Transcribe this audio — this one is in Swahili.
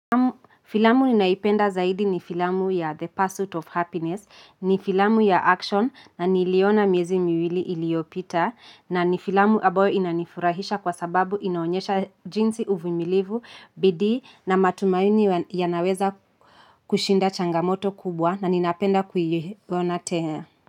Filamu ninayoipenda zaidi ni filamu ya The Path of Happiness, ni filamu ya action na niliona miezi miwili iliyopita na ni filamu ambayo inanifurahisha kwa sababu inaonyesha jinsi uvumilivu, bidii na matumaini yanaweza kushinda changamoto kubwa na ninapenda kuiona tena.